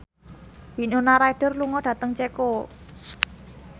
Winona Ryder lunga dhateng Ceko